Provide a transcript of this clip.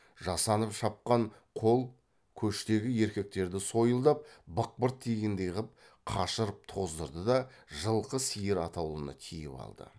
жасанып шапқан қол көштегі еркектерді сойылдап бықпырт тигендей қып қашырып тоздырды да жылқы сиыр атаулыны тиіп алды